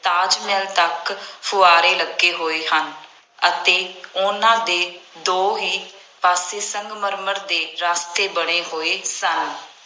ਤਾਜ ਮਹਿਲ ਤੱਕ ਫੁਆਂਰੇ ਲੱਗੇ ਹੋਏ ਹਨ ਅਤੇ ਉਹਨਾ ਦੇ ਦੋਹੇਂ ਪਾਸੇ ਸੰਗਮਰਮਰ ਦੇ ਰਸਤੇ ਬਣੇ ਹੋਏ ਸਨ।